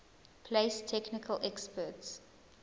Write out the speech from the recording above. place technical experts